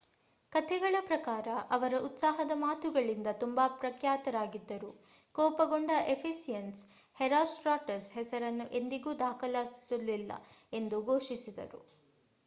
ಕಥೆಗಳ ಪ್ರಕಾರ ಅವರ ಉತ್ಸಾಹದ ಮಾತುಗಳಿಂದ ತುಂಬಾ ಪ್ರಖ್ಯಾತರಾಗಿದ್ದರು ಕೋಪಗೊಂಡ ಎಫೆಸಿಯನ್ಸ್ ಹೆರೋಸ್ಟ್ರಾಟಸ್ ಹೆಸರನ್ನು ಎಂದಿಗೂ ದಾಖಲಿಸಲಾಗುವುದಿಲ್ಲ ಎಂದು ಘೋಷಿಸಿದರು